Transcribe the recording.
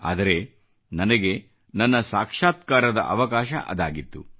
ಆದರೆ ನನಗೆ ನನ್ನ ಸಾಕ್ಷಾತ್ಕಾರದ ಅವಕಾಶ ಅದಾಗಿತ್ತು